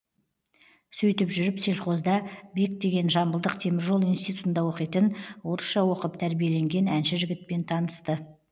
сөйтіп жүріп сельхозда бек деген жамбылдық теміржол институтында оқитын орысша оқып тәрбиеленген әнші жігітпен танысты